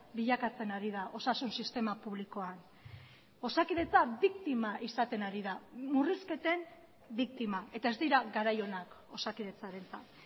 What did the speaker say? bilakatzen ari da osasun sistema publikoan osakidetza biktima izaten ari da murrizketen biktima eta ez dira garai onak osakidetzarentzat